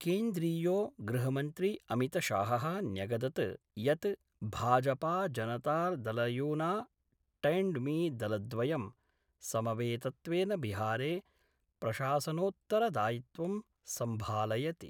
केन्द्रीयो गृहमंत्री अमितशाह: न्यगदत् यत् भाजपाजनतादलयूना टैंडमि दलद्वयं समवेतत्वेन बिहारे प्रशासनोत्तरदायित्वं सम्भालयति।